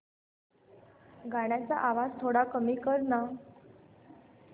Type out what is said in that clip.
गाण्याचा आवाज थोडा कमी कर ना